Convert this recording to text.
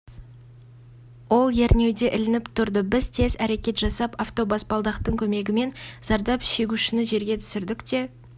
қойып тек терезені ашып үлгерді де тұншықтырғыш газдан есінен танып қалды біз оған келіп үлгергенде